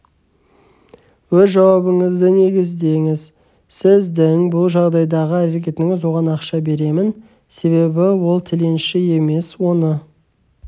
өз жауабыңыз жауабыңызды негіздеңіз сіздің бұл жағдайдағы әрекетіңіз оған ақша беремін себебі ол тіленші емес оны